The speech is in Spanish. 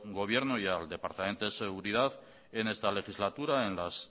gobierno y al departamento de seguridad en esta legislatura en las